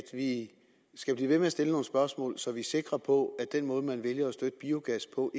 vi skal blive ved med at stille nogle spørgsmål så vi er sikre på at den måde man vælger at støtte biogas på